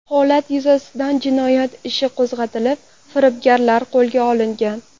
Holat yuzasidan jinoyat ishi qo‘zg‘atilib, firibgarlar qo‘lga olingan.